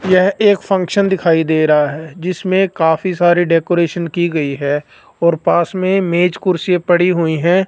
यह एक फंक्शन दिखाई दे रहा जिसमें काफी सारी डेकोरेशन की गई है और पास में मेज कुर्सी पड़ी हुई है।